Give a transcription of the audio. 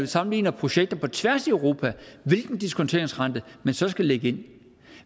sammenligner projekter på tværs i europa hvilken diskonteringsrente man så skal lægge ind